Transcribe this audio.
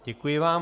Děkuji vám.